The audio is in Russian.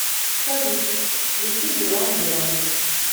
салют включи дюран дюран